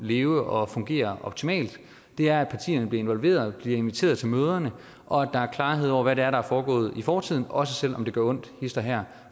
leve og fungere optimalt og det er at partierne bliver involveret bliver inviteret til møderne og at der er klarhed over hvad det er der er foregået i fortiden også selv om det gør ondt hist og her